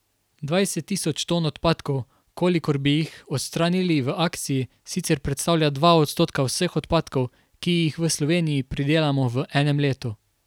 Dvajset tisoč ton odpadkov, kolikor bi jih odstranili v akciji, sicer predstavlja dva odstotka vseh odpadkov, ki jih v Sloveniji pridelamo v enem letu.